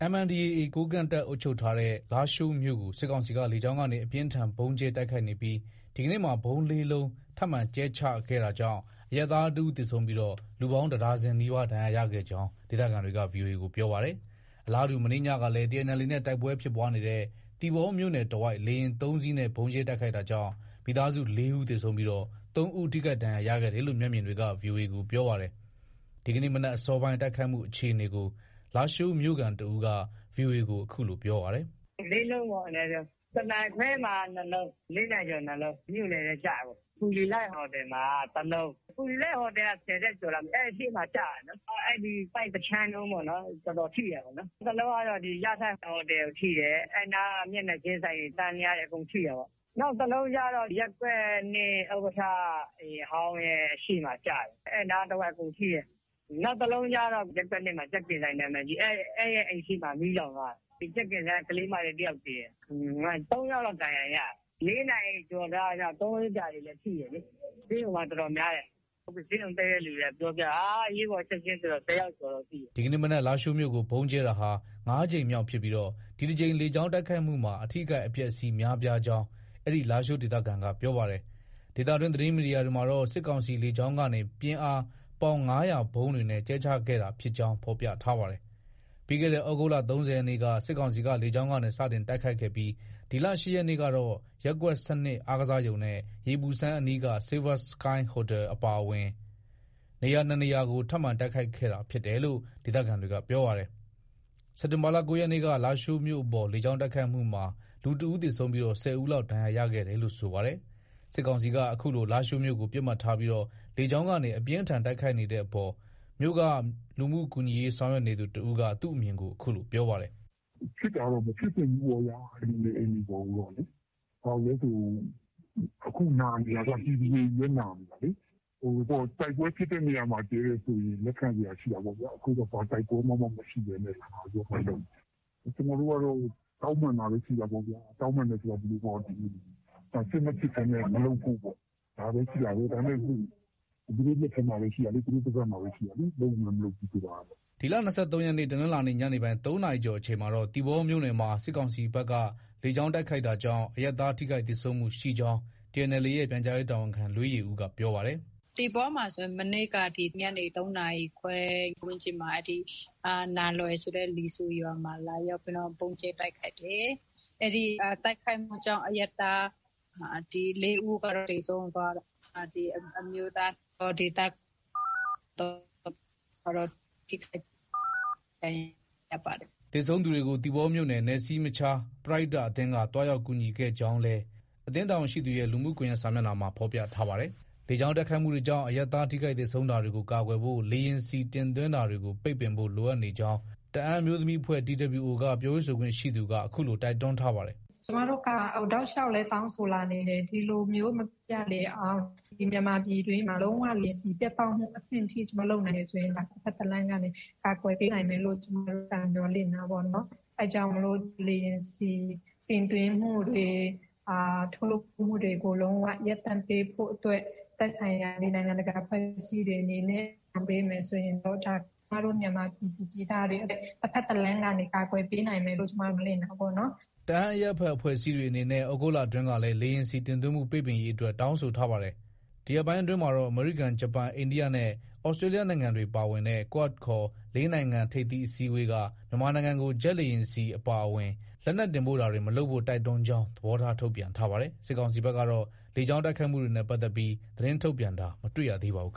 MNDAA ကိုးကန့်တပ်ထိန်းချုပ်ထားတဲ့ လားရှိုးမြို့ကို စစ်ကောင်စီက လေကြောင်းကနေ အပြင်းအထန် ဗုံးကြဲတိုက်ခိုက်နေပြီး ဒီကနေ့မှာ ဗုံး ၄ လုံးထပ်မံကြဲချခဲ့တာကြောင့် အရပ်သား တဦး သေဆုံးပြီး လူပေါင်း တဒါဇင်နီးပါး ဒဏ်ရာရခဲ့ကြောင်း ဒေသခံတွေက ဗွီအိုအေကိုပြောပါတယ်။ အလားတူ မနေ့ညကလည်း TNLA နဲ့ တိုက်ပွဲဖြစ်ပွားနေတဲ့ သီပေါမြို့နယ်တဝိုက် လေယာဉ် ၃စီးနဲ့ ဗုံးကြဲတိုက်ခိုက်တာကြောင့် မိသားစု ၄ ဦးသေဆုံးပြီး ၃ ဦး ထိခိုက်ဒဏ်ရာရခဲ့တယ်လို့ မျက်မြင်တွေက ဗွီအိုအေကိုပြောပါတယ်။ ဒီကနေ့ မနက်အစောပိုင်း တိုက်ခိုက်မှုအခြေအနေကို လားရှိုးမြို့ခံတဦးက VOA ကို အခုလို ပြောပါတယ်။ “ ၄လုံးပေါ့အနည်းဆုံး။ တနာရီခွဲမှာ ၂လုံး။ ၄ နာရီကျော် ၂လုံး။ မြို့လယ်ထဲ ကျတာပေါ့။ ဖူလီလိုက် ဟိုတယ်မှာက တလုံး။ ဖူလီလိုက်ဟိုတယ်က ၁၀ထပ်ကျော်လားမသိဘူး။ အဲဒီရှေ့မှာ ကျတာတာလေ။ အဲဒီ တိုက် တခြမ်းလုံးတော်တော်ထိတာလေ။ တလုံးကတော့ အဲဒီ ရထိုက်ဟိုတယ်ကို ထိတယ်။ အဲဒီနားက မျက်နှာချင်းဆိုင် တန်းလျားတွေ အကုန်ထိတာပေါ့။ နောက်တလုံးကျတော့ ရပ်ကွက် ၂ ဥက္ကဋ္ဌ အိမ်ဟောင်းရဲ့ ရှေ့မှာ ကျတယ်။ အဲဒီနားတဝိုက် အကုန်ထိတယ်။ နောက်တော့ ရပ်ကွက် ၂ မှာ ကြက်ကင်ဆိုင် နံမည်ကြီး၊ အဲဒီအိမ်ရှေ့မှာ မီးလောင်သွားတယ်။ ကြက်ကင်ဆိုင်က ကလေးမလေး တယောက် သေတယ်။ ၃ယောက်လောက် ဒဏ်ရာရတယ်။ ၄နာရီကျော်လောက်ကျတာ သုံးဘီးဆရာတွေလည်း ထိတယ်လေ။ ဆေးရုံမှာ တော်တော်များတယ်။ ဆေးရုံတက်တဲ့သူတွေက ပြောပြတာ အရေးပေါ်ချက်ချင်းဆိုတော့ ၁၀ယောက်ကျော်လောက် ရှိတယ်။ ” ဒီကနေ့မနက် လားရှိုးမြို့ကို ဗုံးကြဲတာဟာ ၅ကြိမ်မြောက် ဖြစ်ပြီး ဒီတကြိမ်လေကြောင်းတိုက်ခိုက်မှုမှာ အထိအခိုက်အပျက်အစီးများပြားကြောင်း အဲဒီလားရှိုးဒေသခံက ပြောပါတယ်။ ဒေသတွင်း သတင်းမီဒီယာတွေမှာတော့ စစ်ကောင်စီလေကြောင်းကနေ ပြင်းအား ပေါင် ၅၀၀ ဗုံးတွေနဲ့ ကြဲချတာဖြစ်ကြောင်း ဖေါ်ပြထားပါတယ်။ ပြီးခဲ့တဲ့ သြဂုတ်လ ၃၀ရက်နေ့က စစ်ကောင်စီက လေကြောင်းကနေ စတင်တိုက်ခိုက်ခဲ့ပြီး ဒီလ ၈ ရက်နေ့ကတော့ ရပ်ကွက် ၁၂ အားကစားရုံနဲ့ ရေပူစမ်းအနီးက Silver Sky ဟိုတယ် အပါအ၀င် နေရာ ၂ နေရာကို ထပ်မံ တိုက်ခိုက်ခဲ့တာဖြစ်တယ်လို့ ဒေသခံတွေက ပြောပါတယ်။ စက်တင်ဘာလ ၉ ရက်နေ့က လားရှိုးမြို့အပေါ် လေကြောင်းတိုက်ခိုက်မှုမှာ လူတဦးသေဆုံးပြီး ၁၀ဦးလောက် ဒဏ်ရာရခဲ့တယ်လို့ ဆိုပါတယ်။ စစ်ကောင်စီက အခုလို လာရှိုးကို ပစ်မှတ်ထားပြီး လေကြောင်းကနေ အပြင်းအထန်တိုက်ခိုက်နေတဲ့အပေါ် မြို့က လူမှုကူညီရေးဆောင်ရွက်နေသူ တဦးက သူ့အမြင်ကို အခုလို ပြောပါတယ်။ “ဖြစ်တာကတော့ မဖြစ်သင့်ဘူးပေါ့ဗျာ။ လူနေအိမ်တွေ ပေါ်ကိုတော့လေ။ ဘာလို့လည်းဆို အခုနာနေတာက ပြည်သူတွေချည်းပဲ နာနေတာလေ။ တိုက်ပွဲဖြစ်တဲ့နေရာမှာ ကြဲတယ်ဆိုရင် လက်ခံစရာရှိတာပေ့ါဗျာ။ အခုတော့ ဘာတိုက်ပွဲမှ မရှိဘဲနဲ့ လုပ်နေတာ။ ကျနော်တို့ကတော့ တောင်းပန်တာပဲ ရှိတာပေ့ါဗျာ။ တောင်းပန် တယ် ဆိုတာ ဒီလိုပေါ့ စစ်မဖြစ်ဘဲနဲ့ မလုပ်ဖို့ ပေါ့။ ဒါပဲရှိတာပဲ၊ ဒါပေမဲ့ သူတို့ လက်ထဲမှာပဲ ရှိတာလေ။ သူတို့ ပါးစပ်မှာပဲ ရှိတာလေ လုပ်မယ်၊ မလုပ်ဘူး ဆိုတာက။ ” ဒီလ ၂၃ရက်နေ့ တနင်္လာနေ့ ညနေပိုင်း ၃နာရီကျော်အချိန်မှာတော့ သီပေါမြို့နယ်မှာ စစ်ကောင်စီဘက်က လေကြောင်းက တိုက်ခိုက်တာကြောင့် အရပ်သား ထိခိုက်သေဆုံးမှုရှိကြောင်း TNLA ရဲ့ ပြန်ကြားရေးတာဝန်ခံ လွေးယေဦးက ပြောပါတယ်။ “ သီပေါမှာဆိုရင် မနေ့က ညနေ ၃နာရီခွဲ အချိန်ဝန်းကျင်မှာ နားလွယ်ဆိုတဲ့ လီဆူရွာမှာ လာရောက်ပြီးတော့ ဗုံးကြဲတိုက်ခိုက်တယ်။ အဲဒီ တိုက်ခိုက်မှုကြောင့် အရပ်သား ၄ဦးကတော့ သေဆုံးသွားတယ်။အမျိုးသား ဒေသခံ ၃ဦးကတော့ ထိခိုက်ဒဏ်ရာ ရပါတယ်။ ” သေဆုံးသူတွေကို သီပေါမြို့နယ်နယ်စည်းမခြား ပရဟိတအသင်းက သွားရောက်ကူညီခဲ့ကြောင်းလည်း အသင်းတာဝန်ရှိသူရဲ့ လူမှုကွန်ရက်စာမျက်နှာမှာ ဖော်ပြထားပါတယ်။ လေကြောင်းတိုက်ခိုက်မှုကြောင့် အရပ်သားထိခိုက်သေဆုံးတာတွေကို ကာကွယ်ဖို့ လေယာဉ်ဆီ တင်သွင်းတာတွေကို ပိတ်ပင်ဖို့ လိုအပ်နေကြောင်း တအန်းအမျိုးသမီးအဖွဲ့ TWO က ပြောရေးဆိုခွင့်ရှိသူက အခုလို တိုက်တွန်းထားပါတယ်။ “ ကျမတို့က တောက်လျောက်လည်း တောင်းဆိုလာနေတယ်။ ဒီလိုမျိုး မဖြစ်ရလေအောင် မြန်မာပြည်တွင်းမှာ လုံး၀ လေယာဉ်ဆီပြတ်တောက်တဲ့ အဆင့်ထိ လုပ်နိုင်မယ်ဆိုရင် တဖက်တလမ်းကနေ ကာကွယ်ပေးနိုင် မယ်လို့ မျှော်လင့်တာပေါ့နော်။ အဲဒါကြောင့် လေယာဉ်ဆီ တင်သွင်းမှုတွေ၊ ထုတ်လုပ်မှုတွေကို လုံး၀ ရပ်တန့်ပေးဖို့အတွက် သက်ဆိုင်ရာ နိုင်ငံတကာ အဖွဲ့အစည်းတွေအနေနဲ့ လုပ်ဆောင်ပေးမယ်ဆိုရင်တော့ ဒါက မြန်မာပြည်သူ ပြည်သားတွေ တဖက်တလမ်းကနေ ကာကွယ်ပေးနိုင်မယ်လို့ ကျမတို့ မျှော်လင့်တာပေါ့နော်။” တအန်းအရပ်ဘက်အဖွဲ့အစည်းတွေအနေနဲ့ သြဂုတ်လအတွင်းကလည်း လေယာဉ်ဆီ တင်သွင်းမှု ပိတ်ပင်ရေးအတွက် တောင်းဆိုထားပါတယ်။ ဒီရက်ပိုင်းအတွင်းမှာတော့ အမေရိကန်၊ ဂျပန်၊ အိန္ဒိယနဲ့ သြစတေးလျနိုင်ငံတွေပါဝင်တဲ့ QUAD ခေါ် ၄နိုင်ငံထိပ်သီးအစည်းအဝေးက မြန်မာနိုင်ငံကို ဂျက်လေယာဉ်ဆီအပါအဝင် လက်နက်တင်ပို့တာတွေ မလုပ်ဖို့ တိုက်တွန်းကြောင်း သဘောထား ထုတ်ပြန်ထားပါတယ်။ စစ်ကောင်စီဘက်ကတော့ လေကြောင်းတိုက်ခိုက်မှုတွေနဲ့ပတ်သက်ပြီး သတင်းထုတ်ပြန်တာ မတွေ့ရပါဘူး။